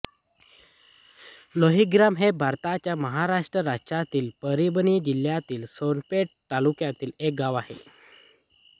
लोहीग्राम हे भारताच्या महाराष्ट्र राज्यातील परभणी जिल्ह्यातील सोनपेठ तालुक्यातील एक गाव आहे